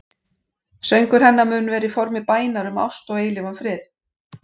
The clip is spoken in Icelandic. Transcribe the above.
Söngur hennar mun vera í formi bænar um ást og eilífan frið.